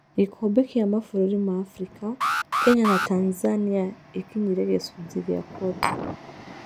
Gĩkombe kĩa mabũrũri ma Abirika: Kenya na Tanzania ĩkinyire gĩcunjĩ gĩa kuota.